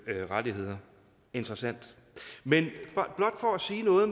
rettigheder interessant men blot for at sige noget